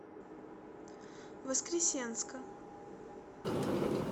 воскресенска